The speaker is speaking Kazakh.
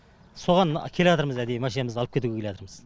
соған келатырмыз әдейі машинамызды алып кетуге келатырмыз